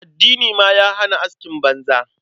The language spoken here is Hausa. Addini ma ya hana askin banza.